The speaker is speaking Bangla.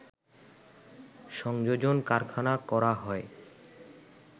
সংযোজন কারখানা করা হয়